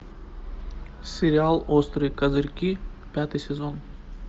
сериал острые козырьки пятый сезон